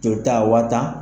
joli taa waa tan